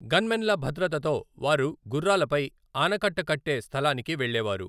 గన్మెన్ల భద్రతతో వారు గుర్రాలపై ఆనకట్ట కట్టే స్థలానికి వెళ్లేవారు.